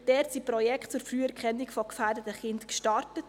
Dort wurden Projekte zur Früherkennung gefährdeter Kinder gestartet.